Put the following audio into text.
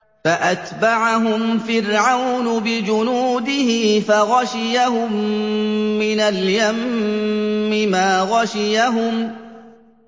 فَأَتْبَعَهُمْ فِرْعَوْنُ بِجُنُودِهِ فَغَشِيَهُم مِّنَ الْيَمِّ مَا غَشِيَهُمْ